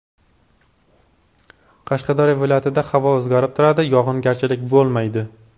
Qashqadaryo viloyatida havo o‘zgarib turadi, yog‘ingarchilik bo‘lmaydi.